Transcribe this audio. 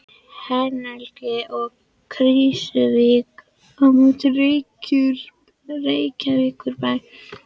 Hengli og Krýsuvík á móti Reykjavíkurbæ og